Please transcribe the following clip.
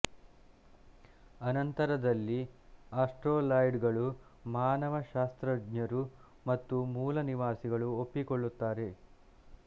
ಅನಂತರದಲ್ಲಿ ಆಸ್ಟ್ರೋಲಾಯ್ಡಗಳು ಮಾನವ ಶಾಸ್ತ್ರಜ್ಞರು ಮತ್ತು ಮೂಲ ನಿವಾಸಿಗಳು ಒಪ್ಪಿಕೊಳ್ಳುತ್ತಾರೆ